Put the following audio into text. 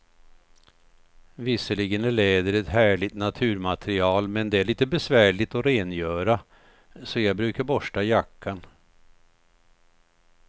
Visserligen är läder ett härligt naturmaterial, men det är lite besvärligt att rengöra, så jag brukar borsta jackan.